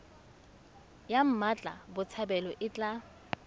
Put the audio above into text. ya mmatla botshabelo e tla